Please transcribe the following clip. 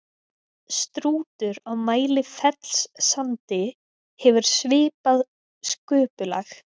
strútur á mælifellssandi hefur svipað sköpulag